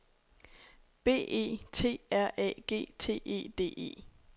B E T R A G T E D E